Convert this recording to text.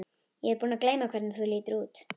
Ég er búin að gleyma hvernig þú lítur út.